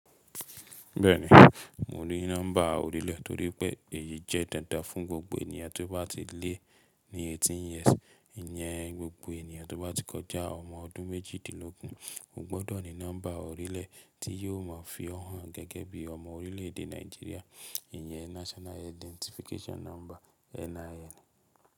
Bẹ́ẹ̀ni, mo ní nọ́mbà orílẹ̀ torípẹ́ èyí jẹ́ dandan fún gbogbo ènìyàn tí ó bá ti lé ní 18 years. Ìyẹn gbogbo ènìyàn tó bá ti kọjá ọmọ ọdún méjìdínlógún o gbọ́dọ̀ ní nọ́mbà orílẹ̀ tí yóò mọ̀ fí hàn gẹ́gẹ́ bí ọmọ orílẹ̀ èdè Nàìjíríà, ìyẹn National Identification Number.